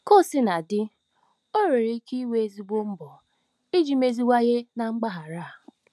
Ka o sina dị, ọ nwere ike iwe ezigbo mbọ iji meziwanye na mpaghara a.